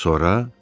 Sonra?